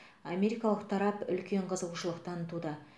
америкалық тарап үлкен қызығушылық танытуда